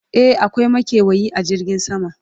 e akwai makewayi a jirgin sama